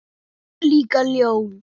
Líka ljón.